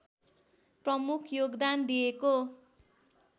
प्रमुख योगदान दिएको